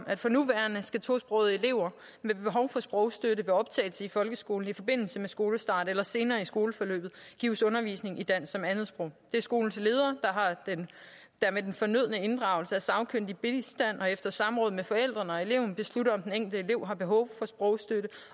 at for nuværende skal tosprogede elever med behov for sprogstøtte ved optagelse i folkeskolen i forbindelse med skolestart eller senere i skoleforløbet gives undervisning i dansk som andetsprog det er skolens ledere der med den fornødne inddragelse af sagkyndig bistand og efter samråd med forældrene og eleven beslutter om den enkelte elev har behov for sprogstøtte